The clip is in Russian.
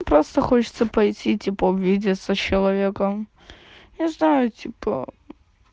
просто хочется пойти типа увидеться с человеком я знаю типа